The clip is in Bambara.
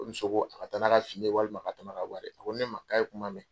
Ko muso ko a ka taa n'a ka fini ye walima ka tɛmɛ ka bɔ ale ɲɛ . A ko ne ma k'a ye kuma mɛn.